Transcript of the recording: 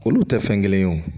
Olu tɛ fɛn kelen ye wo